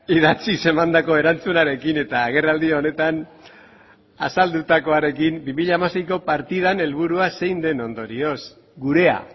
idatziz emandako erantzunarekin eta agerraldi honetan azaldutakoarekin bi mila hamaseiko partidan helburua zein den ondorioz gurea